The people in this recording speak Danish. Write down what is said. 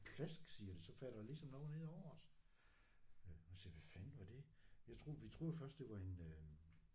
Plask siger det så falder der ligesom noget ned over os øh og siger hvad fanden var det jeg troede vi troede først det var en øh